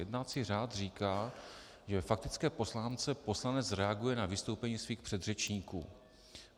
Jednací řád říká, že ve faktické poznámce poslanec reaguje na vystoupení svých předřečníků.